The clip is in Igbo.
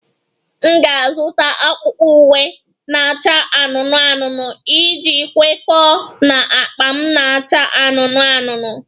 M ga-azụta akpụkpọ ụkwụ na-acha anụnụ anụnụ iji kwekọọ na akpa m na-acha anụnụ anụnụ